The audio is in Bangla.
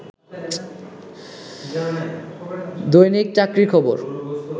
দৈনিক চাকরির খবর